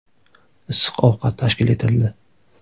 Issiq ovqat tashkil etildi.